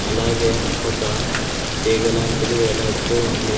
అలాగే ఒక తీగ లాంటిది వేలాడుతూ ఉంది